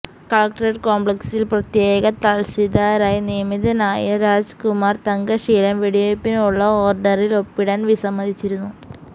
collectorate കോംപ്ലക്സിൽ പ്രത്യേക തഹസില്ദാരായി നിയമിതനായ രാജ്കുമാർ തങ്കശീലൻ വെടിവെപ്പിനുള്ള ഓർഡറിൽ ഒപ്പിടാൻ വിസമ്മതിച്ചിരുന്നു